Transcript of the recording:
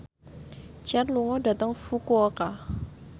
Cher lunga dhateng Fukuoka